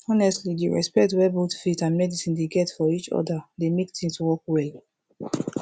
honestly di respect wey both faith and medicine dey get for each other dey mek things work well